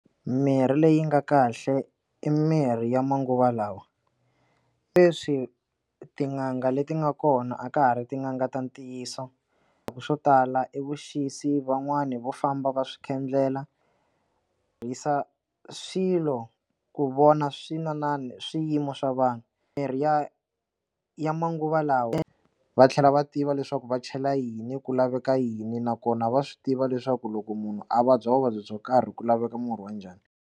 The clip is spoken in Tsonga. Mirhi leyi nga kahle i mirhi ya manguva lawa leswi tin'anga leti nga kona a ka ha ri tin'anga ta ntiyiso ku swo tala i vuxisi van'wani va famba va swi khendlela tirhisa kha swilo ku vona swina na swiyimo swa vanhu mirhi ya ya manguva lawa va tlhela va tiva leswaku va chela yini ku laveka yini nakona va swi tiva leswaku loko munhu a vabya vuvabyi byo karhi ku laveka murhi wa njhani.